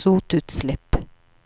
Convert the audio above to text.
sotutslipp.